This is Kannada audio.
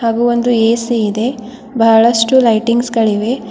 ಹಾಗೂ ಒಂದು ಎ_ಸಿ ಇದೆ ಬಹಳಷ್ಟು ಲೈಟಿಂಗ್ಸ್ ಗಳಿವೆ.